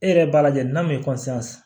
E yɛrɛ b'a lajɛ n'a m'i